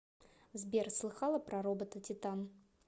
сбер слыхала про робота титан